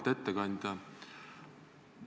Auväärt ettekandja!